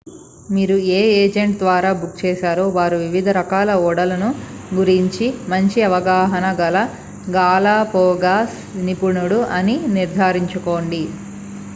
మీరు ఏ ఏజెంట్ ద్వారా బుక్ చేశారో వారు వివిధ రకాల ఓడల గురించి మంచి అవగాహన గల గాలపాగోస్ నిపుణుడు అని నిర్ధారించుకోండి